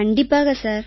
கண்டிப்பாக சார்